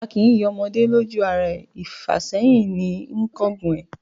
A kì í yin ọmọdé lójú ara e, ìfàsẹ́hìn ní ń kángun ẹ̀.